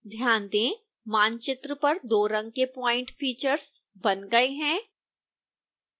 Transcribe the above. ध्यान दें मानचित्र पर दो रंग के प्वाइंट फीचर्स बन गए हैं